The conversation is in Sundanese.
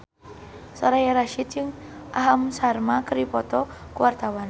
Soraya Rasyid jeung Aham Sharma keur dipoto ku wartawan